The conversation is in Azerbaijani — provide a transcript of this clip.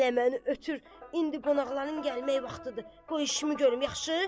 Hələ məni ötür, indi qonaqların gəlmək vaxtıdır, qoy işimi görüm, yaxşı?